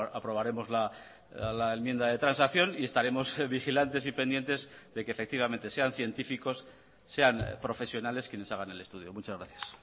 aprobaremos la enmienda de transacción y estaremos vigilantes y pendientes de que efectivamente sean científicos sean profesionales quienes hagan el estudio muchas gracias